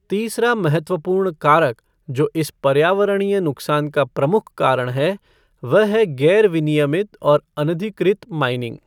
तीसरा महत्वपूर्ण कारक जो इस पर्यावरणीय नुकसान का प्रमुख कारण है, वह है गैर विनियमित और अनधिकृत माइनिंग।